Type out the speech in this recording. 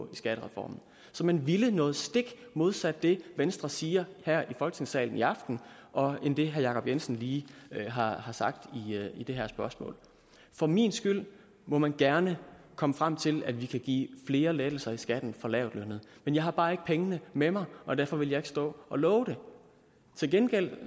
i skattereformen så man ville noget stik modsat det venstre siger her i folketingssalen i aften og end det herre jacob jensen lige har har sagt i det her spørgsmål for min skyld må man gerne komme frem til at vi kan give flere lettelser i skatten for lavtlønnede men jeg har bare ikke pengene med mig og derfor vil jeg ikke stå og love det til gengæld